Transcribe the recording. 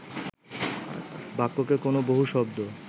বাক্যকে কোন বহু শব্দ